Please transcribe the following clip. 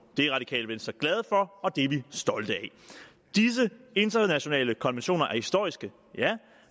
det er radikale venstre glade for og det er vi stolte af disse internationale konventioner er historiske ja